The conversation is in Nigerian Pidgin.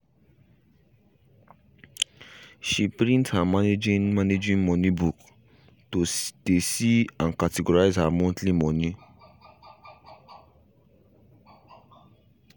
she print her managing managing money book to de see and categorize her monthly moni